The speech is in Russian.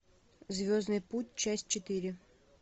звездный путь часть четыре